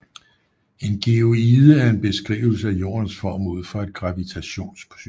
En geoide er en beskrivelse af Jordens form ud fra et gravitations synspunkt